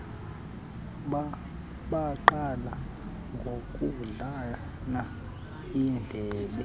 baqala ngokudlana iindlebe